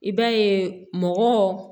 I b'a ye mɔgɔ